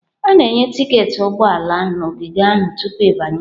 A na-enye tiketi ụgbọ ala na ogige ahụ tupu ịbanye.